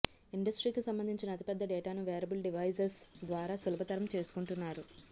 ఇండస్ట్రీకి సంబంధించిన అతిపెద్ద డేటాను వేరబుల్ డివైజస్ ద్వారా సులభతరం చేసుకుంటున్నారు